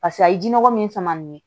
Paseke a ye jinɔgɔ min sama nin ye